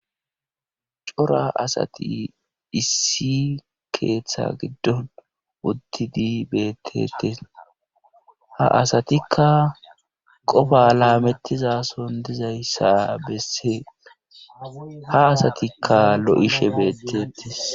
Cora asati issi keeththa giddon uddidi bettetes ha asatikka qofa laamettizason dizayssa besse ha asatikka lo7ishe beettetis.